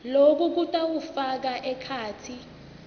loku kutawufaka ekhatsi